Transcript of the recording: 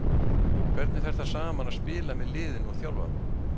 Hvernig fer það saman að spila með liðinu og þjálfa það?